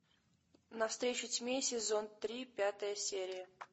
навстречу тьме сезон три пятая серия